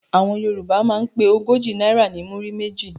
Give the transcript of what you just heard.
Àwọn Yorùbá máa ń pe ogójì náírà ní "múrí méjì".